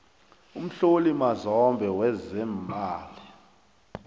umhloli mazombe wezeemali